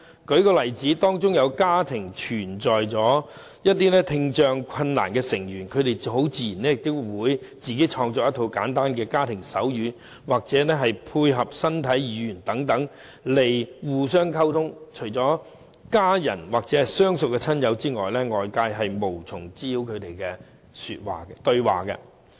舉例而言，當一個家庭中有聽障困難的成員，他們很自然便會自行創作一套簡單的家庭手語，或配合身體語言等來互相溝通，除了家人或相熟的親友外，外界是無法明白他們的對話的。